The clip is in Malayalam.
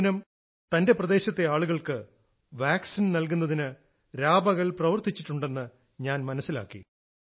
പൂനം തന്റെ പ്രദേശത്തെ ആളുകൾക്ക് വാക്സിൻ നൽകുന്നതിന് രാപകൽ പ്രവർത്തിച്ചിട്ടുണ്ടെന്ന് ഞാൻ മനസ്സിലാക്കി